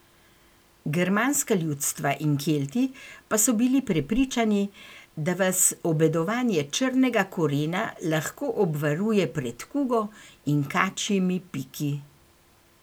Germanska ljudstva in Kelti pa so bili prepričani, da vas obedovanje črnega korena lahko obvaruje pred kugo in kačjimi piki.